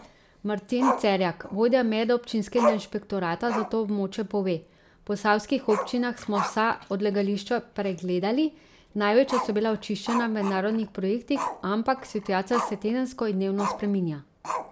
Martin Cerjak, vodja medobčinskega inšpektorata za to območje, pove: 'V Posavskih občinah smo vsa odlagališča pregledali, največja so bila očiščena v mednarodnih projektih, ampak situacija se tedensko in dnevno spreminja.